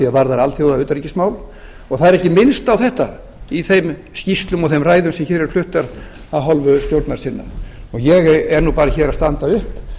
varðar alþjóðautanríkismál og það er ekki minnst á þetta í þeim skýrslum og ræðum sem hér eru fluttar af hálfu stjórnarsinna ég er nú bara hér að standa upp